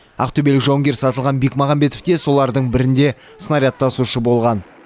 ақтөбелік жауынгер сатылған бекмағамбетов те солардың бірінде снаряд тасушы болған